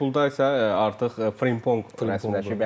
Liverpulda isə artıq Frimpong rəsmiləşib.